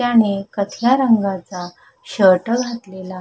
त्याने कथ्या रंगाचा शर्ट घातलेला--